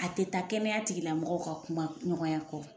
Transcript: A te taa kɛnɛya tigila mɔgɔw ka kuma ɲɔgɔnya kɔ